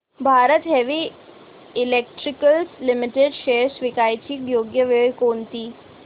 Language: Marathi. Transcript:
Bharat heavy electricals limited shares विकण्याची योग्य वेळ कोणती